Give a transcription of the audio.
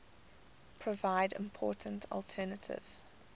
provide important alternative